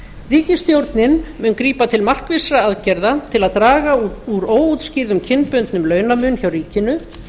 ríkisstjórnin mun grípa til markvissra aðgerða til að draga úr óútskýrðum kynbundnum launamun hjá ríkinu